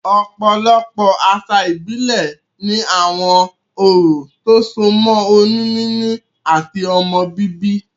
Òpòlopò àsà ìbílè ni àwon orò tó so mó oyún níní àti ọmọ bíbí